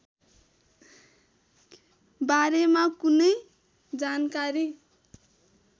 बारेमा कुनै जानकारी